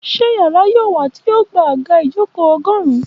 Ṣé yàrá yóò wà tí yoo gba àga ijoko ogórun?